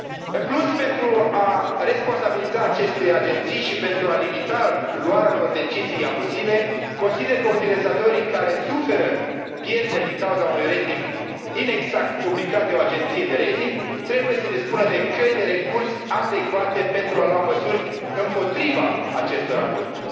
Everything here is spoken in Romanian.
În plus, pentru a responsabiliza aceste agenții și pentru a limita luarea unor decizii abuzive, consider că utilizatorii care suferă pierderi din cauza unui rating inexact publicat de o agenție de rating trebuie să dispună de căi de recurs adecvate, pentru a lua măsuri împotriva acestor abuzuri.